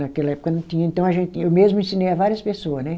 Naquela época não tinha, então a gente, eu mesmo ensinei a várias pessoa, né?